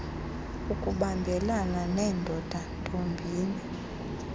ukubambelana neendoda ntombini